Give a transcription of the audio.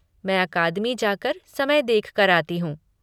मैं अकादमी जाकर समय देखकर आती हूँ।